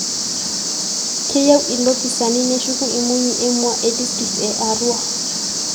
Keyieu ilopisani neshuku imunyi emua e distrikt e Arua.